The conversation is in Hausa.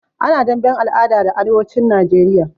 Ana damben al'ada da arewacin Najeriya.